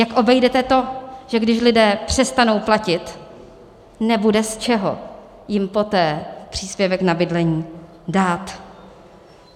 Jak obejdete to, že když lidé přestanou platit, nebude z čeho jim poté příspěvek na bydlení dát?